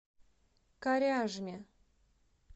коряжме